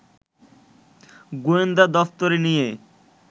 গোয়েন্দা দফতরে নিয়ে